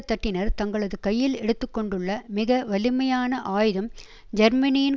தட்டினர் தங்களது கையில் எடுத்துக்கொண்டுள்ள மிக வலிமையான ஆயுதம் ஜெர்மனியின்